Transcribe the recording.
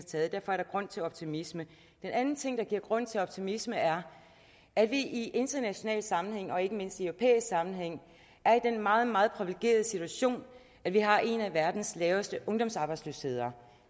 taget derfor er der grund til optimisme den anden ting der giver grund til optimisme er at vi i international sammenhæng og ikke mindst i europæisk sammenhæng er i den meget meget privilegerede situation at vi har en af verdens laveste ungdomsarbejdsløsheder